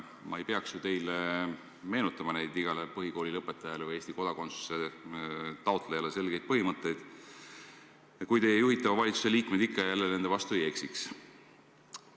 Ma ei peaks teile meenutama neid igale põhikooli lõpetajale või Eesti kodakondsuse taotlejale selgeid põhimõtteid, kui teie juhitava valitsuse liikmed ikka ja jälle nende vastu ei eksiks.